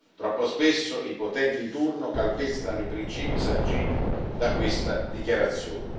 Troppo spesso i potenti di turno calpestano i principi sanciti da questa Dichiarazione.